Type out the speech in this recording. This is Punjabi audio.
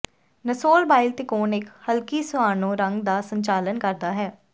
ਨਸੋਲਬਾਇਲ ਤਿਕੋਣ ਇੱਕ ਹਲਕੀ ਸਿਆਨੋ ਰੰਗ ਦਾ ਸੰਚਾਲਨ ਕਰਦਾ ਹੈ